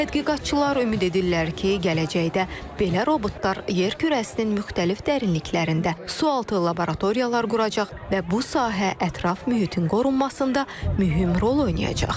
Tədqiqatçılar ümid edirlər ki, gələcəkdə belə robotlar yer kürəsinin müxtəlif dərinliklərində sualtı laboratoriyalar quracaq və bu sahə ətraf mühitin qorunmasında mühüm rol oynayacaq.